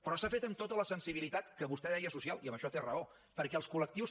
però s’ha fet amb tota la sensibilitat que vostè deia social i en això té raó perquè els col·lectius